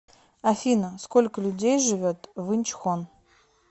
афина сколько людей живет в инчхон